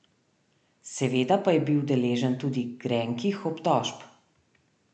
Seveda pa je bil deležen tudi grenkih obtožb.